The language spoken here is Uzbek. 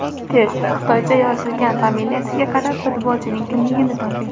Test: Xitoycha yozilgan familiyasiga qarab, futbolchining kimligini toping!.